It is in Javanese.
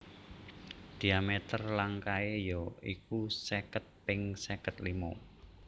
Dhiameter langkae ya iku seket ping seket limo